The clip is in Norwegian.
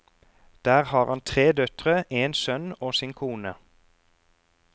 Der har han tre døtre, en sønn og sin kone.